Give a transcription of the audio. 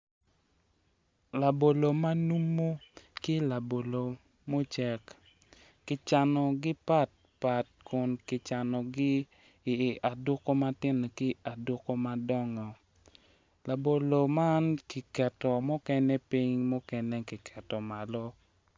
Labolo ma numu ki labolo mucek kicanogi patpat kun kicanogi i aduko matino ki madongo labolo man kiketo mukene piny mukene kiketo malo